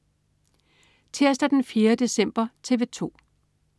Tirsdag den 4. december - TV 2: